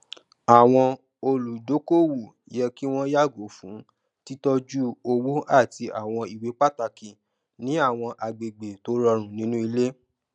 àwọn olùdókòowó yẹ kí wọn yàgò fún títọjú owó àti àwọn ìwé pàtàkì ní àwọn agbègbè tó rọrùn nínú ilé